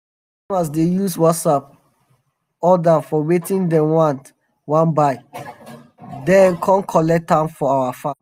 our customers dey use whatsapp order for wetin dem wan wan buy den come collect am for our farm.